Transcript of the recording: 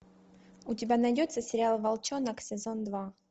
у тебя найдется сериал волчонок сезон два